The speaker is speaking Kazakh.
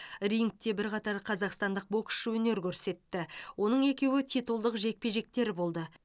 рингте бірқатар қазақстандық боксшы өнер көрсетті оның екеуі титулдық жекпе жектер болды